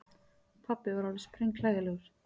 Pabbi var alveg sprenghlægilegur.